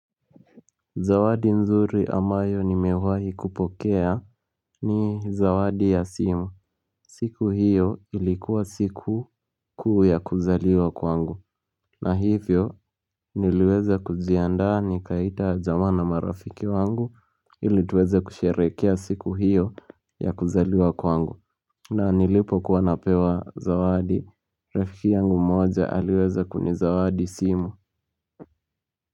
Zawadi nzuri ambayo nimewahi kupokea ni zawadi ya simu siku hiyo ilikuwa siku kuu ya kuzaliwa kwangu na hivyo niliweza kujiandaa nikaita jamaa na marafiki wangu ili tuweza kusherehekea siku hiyo ya kuzaliwa kwangu na nilipokuwa napewa zawadi rafiki yangu moja aliweza kuni zawadi simu.